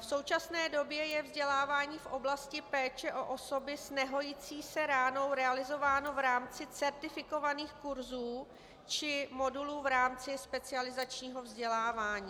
V současné době je vzdělávání v oblasti péče o osoby s nehojící se ránou realizováno v rámci certifikovaných kurzů či modulu v rámci specializačního vzdělávání.